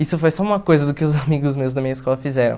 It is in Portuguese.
Isso foi só uma coisa do que os amigos meus da minha escola fizeram.